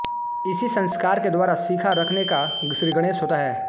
इसी संस्कार के द्वारा शिखा रखने का श्रीगणेश होता है